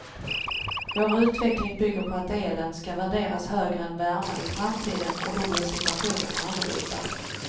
Vår utveckling bygger på att elen ska värderas högre än värmen i framtiden och då blir situationen annorlunda.